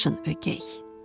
Baxışın ögəy.